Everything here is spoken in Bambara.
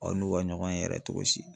Aw n'u ka ɲɔgɔn yɛrɛ cogo si.